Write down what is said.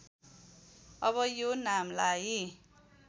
अब यो नामलाई